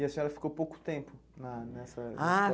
E a senhora ficou pouco tempo na nessa escola? Ah